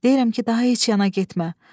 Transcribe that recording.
Deyirəm ki, daha heç yana getmə.